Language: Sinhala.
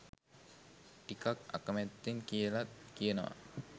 ටිකක් අකමැත්තෙන් කියලත් කියනවා.